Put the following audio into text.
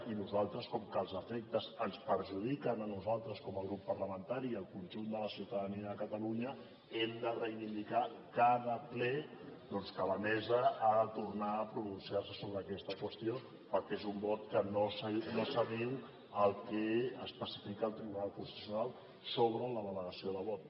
i nosaltres com que els efectes ens perjudiquen a nosaltres com a grup parlamentari i al conjunt de la ciutadania de catalunya hem de reivindicar cada ple doncs que la mesa ha de tornar a pronunciar se sobre aquesta qüestió perquè és un vot que no s’adiu al que especifica el tribunal constitucional sobre la delegació de vot